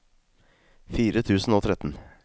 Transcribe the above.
fire tusen og tretten